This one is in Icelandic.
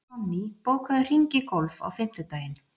Sonný, bókaðu hring í golf á fimmtudaginn.